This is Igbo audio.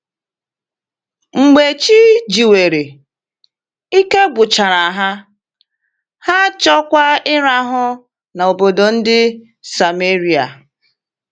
Mgbe chi jiwere, ike gwụchara ha, ha achọọkwa ịrahụ n’obodo ndị Sameria.